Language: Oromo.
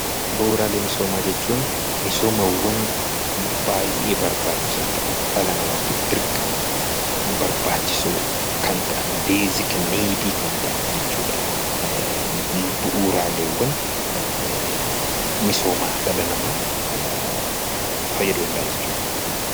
Bu'uuraalee misoomaa jechuun misoomawwan dhala namaatiif dirqama baay'ee barbaachisaa kan ta'an jechuudha. Bu'uuraalee misoomaa dhala namaa fayyaduu danda'an jechuudha.